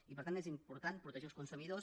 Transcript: i per tant és important protegir els consumidors